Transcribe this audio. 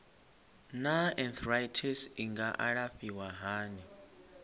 naa arthritis i nga alafhiwa hani